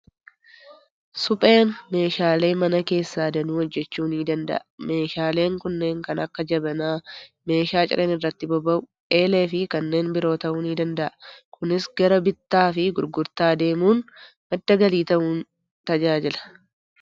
Supheen meeshaaleee mana keessaa danuu hojjechuu ni danda'a. Meeshaaleen kunneen kan akka jabanaa, meeshaa cileen irratti boba'u, eelee fi kanneen biroo ta'uu ni danda'a. Kunis gara bittaa fi gurgurtaa deemuun madda galii ta'uun tajaajila.